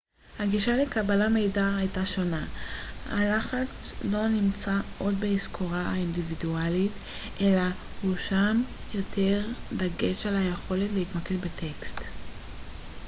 הגישה לקבלת מידע הייתה שונה הלחץ לא נמצא עוד בהיזכרות האינדיבידואלית אלא הושם יותר דגש על היכולת להתמקד בטקסט